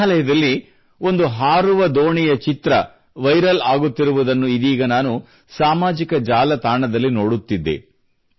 ಮೇಘಾಲಯದಲ್ಲಿ ಒಂದು ಹಾರುವ ದೋಣಿಯ ಚಿತ್ರ ವೈರಲ್ ಆಗುತ್ತಿರುವುದನ್ನು ಇದೀಗ ನಾನು ಸಾಮಾಜಿಕ ಜಾಲತಾಣದಲ್ಲಿ ನೋಡುತ್ತಿದ್ದೆ